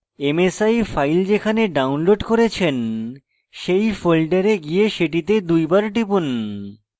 msi file যেখানে download করেছেন সেই folder গিয়ে সেটিতে দুই বার টিপুন